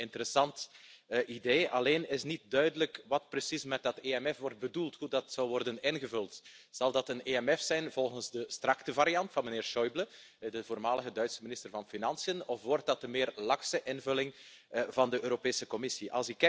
Op zich een interessant idee, alleen is niet duidelijk wat precies met dat EMF wordt bedoeld, hoe dat zal worden ingevuld. Zal dat een EMF zijn volgens de strikte variant van meneer Schäuble, de voormalige Duitse minister van Financiën, of wordt dat de meer lakse invulling van de Europese Commissie?